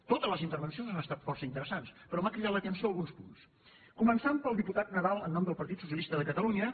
totes les intervencions han estat força interessants però m’han cridat l’atenció alguns punts començant pel diputat nadal en nom del partit socialista de catalunya